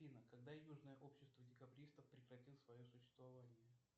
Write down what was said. афина когда южное общество декабристов прекратило свое существование